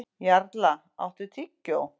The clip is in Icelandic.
Jarla, áttu tyggjó?